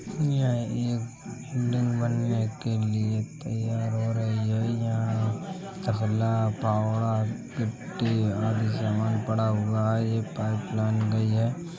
य एक कुंडन बन्ने के लिए तैयार हो रही है| यहाँ तख्ला पावड़ा गिट्टी आदि सामान पड़ा हुआ है| एक पाईप लाईन गई है।